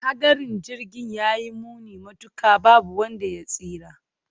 Hadarin Jirgin ya yi muni matuka, babu wanda ya tsira.